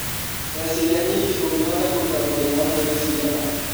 Mbeca iria nyingĩ ingĩhota kũruta mũthenya ũmwe nĩ cigana?